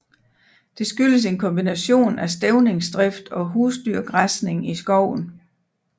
Det skyldes en kombination af stævningsdrift og husdyrgræsning i skoven